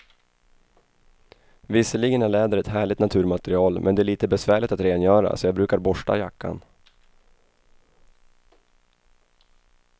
Visserligen är läder ett härligt naturmaterial, men det är lite besvärligt att rengöra, så jag brukar borsta jackan.